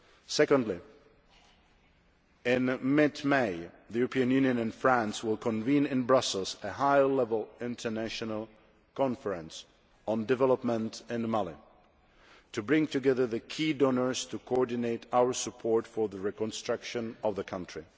Secondly, in mid May, the European Union and France will convene in Brussels a High Level International Conference on Development in Mali, to bring together the key donors to coordinate our support for the reconstruction of the country.